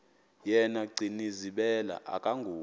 yena gcinizibele akanguye